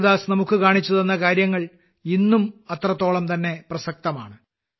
കബീർദാസ് നമുക്ക് കാണിച്ചുതന്ന കാര്യങ്ങൾ ഇന്നും അത്രത്തോളംതന്നെ പ്രസക്തമാണ്